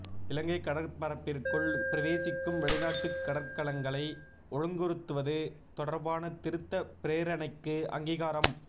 இலங்கை கடற்பரப்பிற்குள் பிரவேசிக்கும் வெளிநாட்டு கடற்கலங்களை ஒழுங்குறுத்துவது தொடர்பான திருத்த பிரேரணைக்கு அங்கீகாரம்